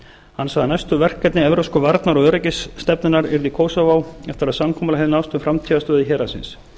hann sagði næstu verkefni evrópska einar og öryggisstefnunnar yrði kosovo eftir að samkomulag hefði náðst um framtíðarstöðu héraðsins